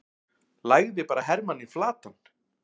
lagði bara hermanninn flatan!